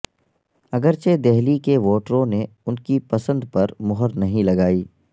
اگرچہ دہلی کے ووٹروں نے ان کی پسند پر مہر نہیں لگائی